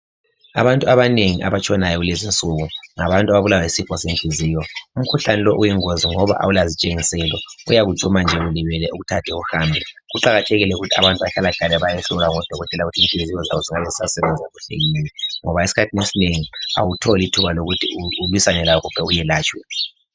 abantu abanengi abatshonayo kulezi insuku ngabantu ababulawa yisifo senhliziyo ,umkhuhlane lo uyingozi ngoba awula zitshengiselo uyakujuma nje ulibele ukuthathe uhambe kuqakathekile ukuthi abantu bahlalahlale bayehlolwa ngodokotela ukuthi kungabe kusasebenza kuhle yini ngoba isikhathi esinengi awutholi ithuba lokuthi ulwisane laso uyelatshwe